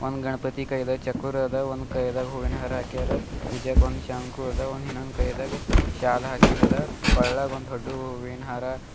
ಗಣಪತಿ ಕೈದಾಗ್ ಚಕೂರಾದ ಒಂದ್ ಕೈದಾಗ್ ಹೂವಿನ ಹಾರ ಆಕ್ಯರ ಇಚ್ಚಕ್ ಒಂದ್ ಶಂಕು ಅದ ಒಂದ್ ಇನ್ನೊಂದ್ ಕೈದಾಗ್ ಶಾಲ್ ಆಕಿಂದದ ಕೊಳಗ್ ಒಂದ್ ದೊಡ್ಡುವು ಹೂವಿನ ಹಾರ--